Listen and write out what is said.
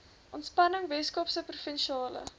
ontspanning weskaapse provinsiale